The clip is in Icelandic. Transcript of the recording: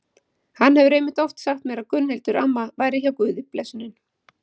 Hann hefur einmitt oft sagt mér að Gunnhildur amma væri hjá Guði blessunin.